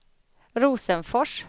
Rosenfors